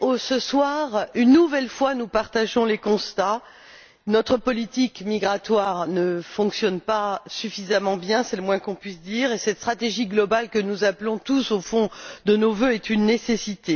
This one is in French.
Ce soir, une nouvelle fois, nous partageons les constats notre politique migratoire ne fonctionne pas suffisamment bien c'est le moins qu'on puisse dire et cette stratégie globale que nous appelons tous, au fond, de nos vœux est une nécessité.